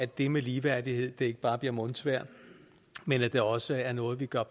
det med ligeværdighed ikke bare bliver mundsvejr men at det også er noget vi gør